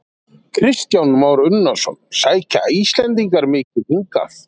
Kristján Már Unnarsson: Sækja Íslendingar mikið hingað?